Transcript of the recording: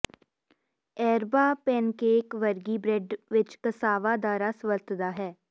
ereba pancake ਵਰਗੀ bread ਵਿਚ cassava ਦਾ ਰਸ ਵਰਤਦਾ ਹੈ